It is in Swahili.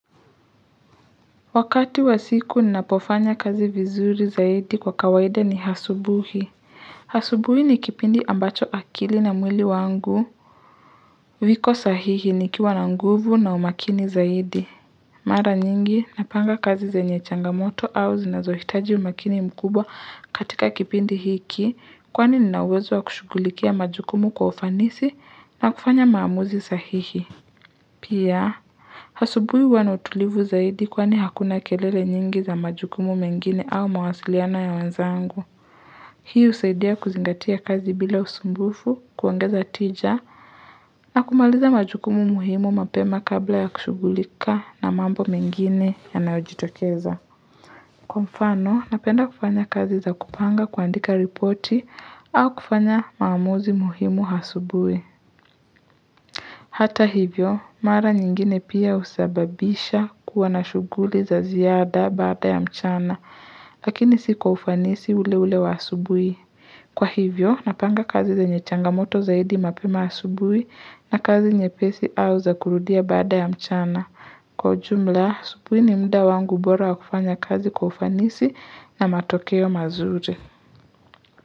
Wakati wa siku ninapofanya kazi vizuri zaidi kwa kawaida ni asubuhi asubuhi ni kipindi ambacho akili na mwili wangu viko sahihi nikiwa na nguvu na umakini zaidi mara nyingi napanga kazi zenye changamoto au zinazohitaji umakini mkubwa katika kipindi hiki kwani ninauwezo wa kushughulikia majukumu kwa ufanisi na kufanya maamuzi sahihi pia asubui huwa na utulivu zaidi kwani hakuna kelele nyingi za majukumu mengine au mawasiliano ya wanzangu. Hii husaidia kuzingatia kazi bila usumbufu kuongeza tija na kumaliza majukumu muhimu mapema kabla ya kushughulika na mambo mengine yanayojitokeza. Kwa mfano, napenda kufanya kazi za kupanga kuandika ripoti au kufanya maamuzi muhimu asubuhi. Hata hivyo, mara nyingine pia husababisha kuwa na shuguli za ziaada baada ya mchana, lakini si kwa ufanisi ule ule wa asubuhi. Kwa hivyo, napanga kazi zenye changamoto zaidi mapema asubuhi na kazi nyepesi au za kurudia baada ya mchana. Kwa jumla, asubuhi ni muda wangu bora kufanya kazi kwa ufanisi na matokeo mazuri.